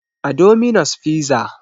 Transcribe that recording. A dominos fiza